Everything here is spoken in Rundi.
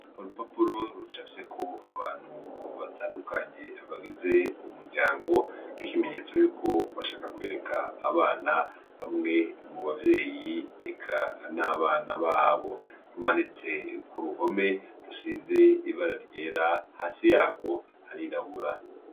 Urupapuro rucafyeko abantu batandukanye bagize umuryango, nk'ikimenyetso yuko bashaka kwereka abana bamwe mu bavyeyi eka n'abana babo, rumanitse ku ruhome rusize ibara ryera hasi yarwo harirabura.